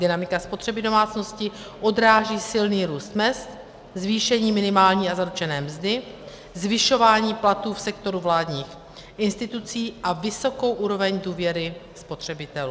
Dynamika spotřeby domácností odráží silný růst mezd, zvýšení minimální a zaručené mzdy, zvyšování platů v sektoru vládních institucí a vysokou úroveň důvěry spotřebitelů.